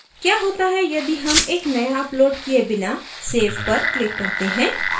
क्या होता है यदि हम एक नया अपलोड किये बिना save पर click करते हैं